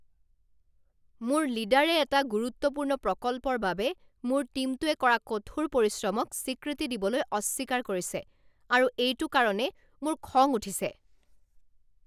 মোৰ লীডাৰে এটা গুৰুত্বপূৰ্ণ প্ৰকল্পৰ বাবে মোৰ টীমটোৱে কৰা কঠোৰ পৰিশ্ৰমক স্বীকৃতি দিবলৈ অস্বীকাৰ কৰিছে আৰু এইটো কাৰণে মোৰ খং উঠিছে।